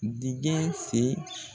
Dingɛ senni